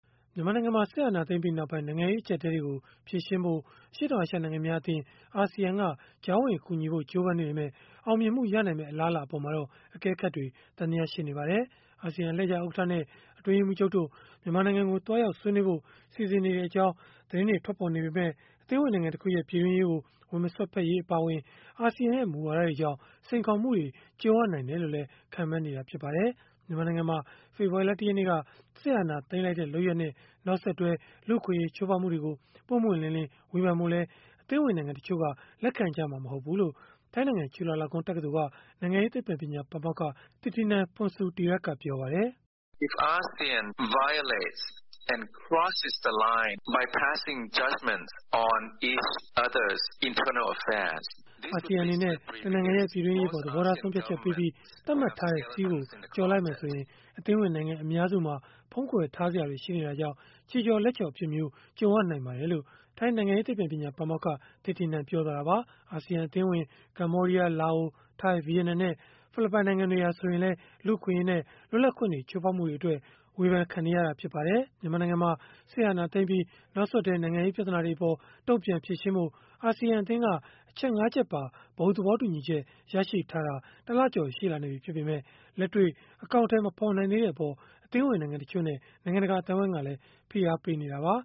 မြန်မာနိုင်ငံမှာ စစ်အာဏာသိမ်းပြီးနောက်ပိုင်း နိုင်ငံရေးအကျပ်အတည်းတွေကို ဖြေရှင်းဖို့ အရှေ့တောင်အာရှ နိုင်ငံများအသင်း (ASEAN) က ကြားဝင်ကူညီဖို့ ကြိုးပမ်းနေပေမဲ့ အောင်မြင်မှုရနိုင်မယ့် အလားအလာအပေါ်မှာတော့ အကဲခတ်တွေ သံသယရှိနေပါတယ်။ အာဆီယံ အလှည့်ကျဥက္ကဋ္ဌနဲ့ အတွင်းရေးမှူးချုပ်တို့ မြန်မာနိုင်ငံကိုသွားရောက် ဆွေးနွေးဖို့ စီစဉ်နေကြောင်း သတင်းတွေ ထွက်ပေါ်နေပေမဲ့ အသင်းဝင် နိုင်ငံတခုရဲ့ ပြည်တွင်းရေးကို ဝင်မစွက်ဖက်ရေး အပါအဝင် အာဆီယံရဲ့ မူဝါဒတွေကြောင့် စိန်ခေါ်မှုတွေ ကြုံရနိုင်တယ်လို့လည်း ခန့်မှန်းနေကြပါတယ်။ မြန်မာနိုင်ငံမှာ ဖေဖော်ဝါရီလ ၁ ရက်နေ့က စစ်အာဏာသိမ်းလိုက်တဲ့ လုပ်ရပ်နဲ့ နောက်ဆက်တွဲ လူ့အခွင့်အရေး ချိုးဖောက်မှုတွေကို ပွင့်ပွင့်လင်းလင်း ဝေဖန်ဖို့လည်း အသင်းဝင်နိုင်ငံတချို့က လက်ခံကြမှာ မဟုတ်ဘူးလို့ ထိုင်းနိုင်ငံ ချုလာလောင်ကွန်း တက္ကသိုလ်က နိုင်ငံရေးသိပ္ပံပညာ ပါမောက္ခ Thitinan Pongsudhirak ကပြောပါတယ်။ “အာဆီယံအနေနဲ့ တနိုင်ငံရဲ့ ပြည်တွင်းရေးအပေါ် သဘောထားဆုံးဖြတ်ချက်ပေးပြီး သတ်မှတ်ထားတဲ့ စည်းကို ကျော်လိုက်မယ်ဆိုရင်၊ အသင်းဝင်နိုင်ငံ အများစုမှာ ဖုံးကွယ်ထားစရာတွေ ရှိနေတာကြောင့် ခြေချော်လက်ချော် အဖြစ်မျိုးနဲ့ ကြုံရနိုင်ပါတယ်။” လို့ ပြောသွားတာပါ။ အာဆီယံ အသင်းဝင် ကမ္ဘောဒီးယား၊ လာအို၊ ထိုင်း၊ ဗီယက်နမ်နဲ့ ဖိလစ်ပိုင် နိုင်ငံတွေဟာ ဆိုရင်လည်း လူ့အခွင့်အရေးနဲ့ လွတ်လပ်ခွင့်တွေ ချိုးဖောက်မှုအတွက် ဝေဖန်ခံနေရတာ ဖြစ်ပါတယ်။ မြန်မာနိုင်ငံမှာ စစ်အာဏာသိမ်းပြီး နောက်ဆက်တွဲ နိုင်ငံရေး ပြဿနာတွေအပေါ် တုံ့ပြန်ဖြေရှင်းဖို့ အာဆီယံအသင်းက အချက် ၅ ချက်ပါ ဘုံသဘောတူညီချက် ရရှိထားတာ ၁ လကျော် ရှိလာနေပြီ ဖြစ်ပေမဲ့ လက်တွေ့ အကောင်အထည် မဖော်နိုင်သေးတဲ့အပေါ် အသင်းဝင်နိုင်ငံတချို့နဲ့ နိုင်ငံတကာ အသိုင်းအဝန်းကလည်း ဖိအားပေးနေတာပါ